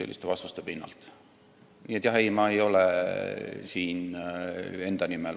Nii et ei, ma ei ole siin enda nimel.